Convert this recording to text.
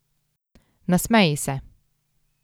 Nasmeji se.